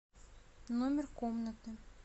номер комнаты